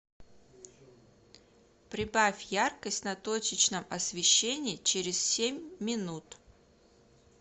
прибавь яркость на точечном освещении через семь минут